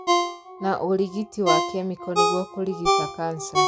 Na ũrigiti wa kemiko nĩguo kũrigita kanca